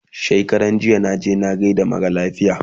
shekaranjiya naje na gaida mara lafiya